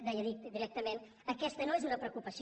deia directament aquesta no és una preocupació